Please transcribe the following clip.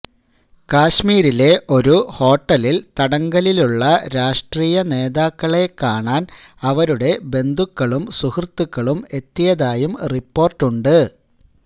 കശ്മീരിലെ ഒരു ഹോട്ടലില് തടങ്കലിലുള്ള രാഷ്ട്രീയ നേതാക്കളെ കാണാന് അവരുടെ ബന്ധുക്കളും സുഹൃത്തുക്കളും എത്തിയതായും റിപ്പോര്ട്ടുണ്ട്